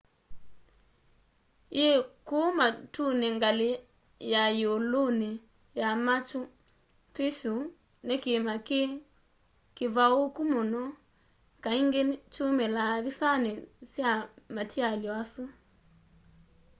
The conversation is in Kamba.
yi kuu matuni ngali ya yiuluni ya machu picchu ni kiima kii kivauuku muno kaingi kyumilaa visani sya matialy'o asu